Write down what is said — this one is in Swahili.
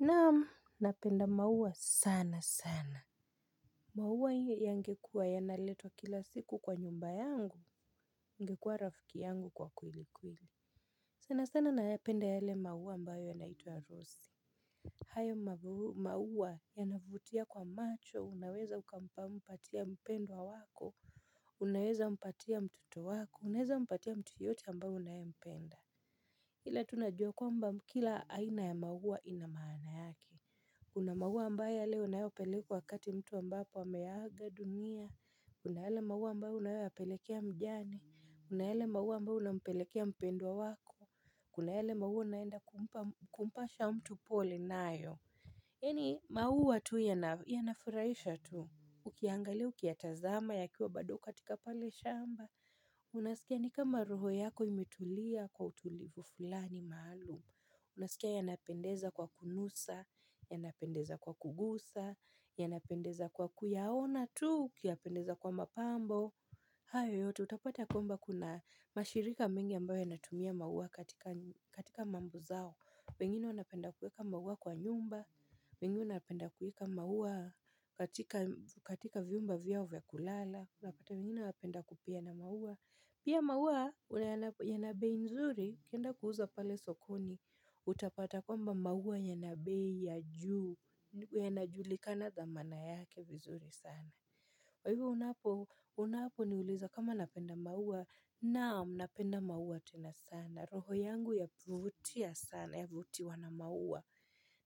Naam, napenda maua sana sana. Maua hiyo yangekuwa y naletwa kila siku kwa nyumba yangu, ungekuwa rafiki yangu kwa kweli kweli. Sana sana nayapenda yale maua ambayo yanaituwa Rose. Hayo maua yanavutia kwa macho, unaweza ukampa mpatia mpendwa wako, unaweza mpatia mtoto wako, unaweza mpatia mtu yoyote ambaye unayempenda. Kile tu najua kwamba kila aina ya maua ina maana yake. Kuna maua ambaye yale unayopeleka wakati mtu ambapo ameaga dunia Kuna eyale maua ambayo unayoyapelekea mjane Kuna yale maua ambayo unampelekea mpendwa wako Kuna yale maua unaenda kumpasha mtu pole nayo yaani maua tu yanafuraisha tu Ukiangalia ukiyatazama yakiwa bado katika pale shamba Unasikia ni kama roho yako imetulia kwa utulivu fulani maalum Unasikia yanapendeza kwa kunusa, yanapendeza kwa kugusa, yanapendeza kwa kuyaona tu ukiyanapendeza kwa mapambo hayo yote utapata kwamba kuna mashirika mingi ambayo yanatumia maua katika mambo zao pengine unapenda kuweka maua kwa nyumba, pengine unapenda kuweka maua katika vyumba vyao vya kulala unapata wengine wapenda kupeana maua Pia maua yana bei nzuri ukienda kuuza pale sokoni Utapata kwamba maua yana bei ya juu Yanajulikana dhamana yake vizuri sana kwa hivyo unaponiuliza kama napenda maua Naam napenda maua tena sana roho yangu yavutia sana yavutiwa na maua